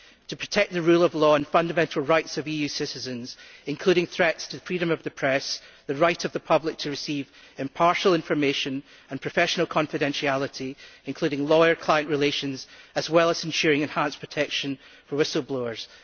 To protect the rule of law and fundamental rights of EU citizens, including threats to freedom of the press, the right of the public to receive impartial information and professional confidentiality, including lawyer client relations as well as ensuring enhanced protection for whistle blowers.